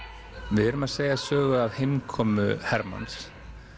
við erum að segja sögu af heimkomu hermanns